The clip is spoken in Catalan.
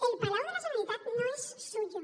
el palau de la generalitat no es suyo